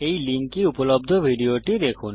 এই লিঙ্কে উপলব্ধ ভিডিওটি দেখুন